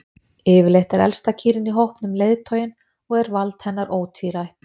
yfirleitt er elsta kýrin í hópnum leiðtoginn og er vald hennar ótvírætt